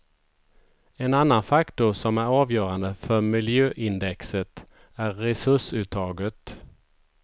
En annan faktor som är avgörande för miljöindexet är resursuttaget.